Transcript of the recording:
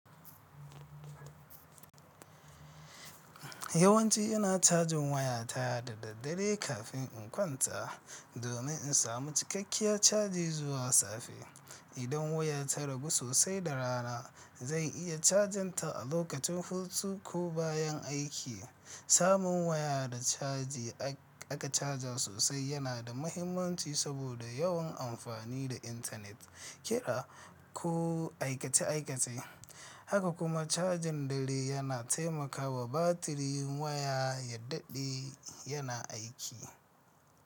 Yawanci ina cajin waya ta da daddare kafin in kwanta domin in samu cikakkiyar caji zuwa safe. Idan waya ta ragu sosai da rana, zan iya cajin ta a lokacin hutu ko bayan aiki. Samun waya da caji aka caja sosai yana da mahimmanci saboda yawan amfani da intanet, kira, ko aikace-aikace, haka kuma cajin dare yana taimakawa batirin waya ya dade yana aiki.